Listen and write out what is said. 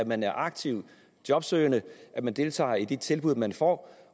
man er aktivt jobsøgende og deltager i de tilbud man får